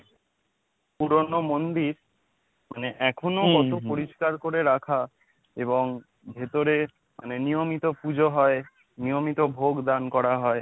পুরনো মন্দির মানে এখনো কত পরিষ্কার করে রাখা এবং ভেতরে মানে নিয়মিত পুজো হয় নিয়মিত ভোগ দান করা হয়।